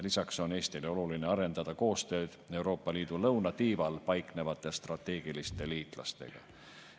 Lisaks on Eestile oluline arendada koostööd Euroopa Liidu lõunatiival paiknevate strateegiliste liitlastega.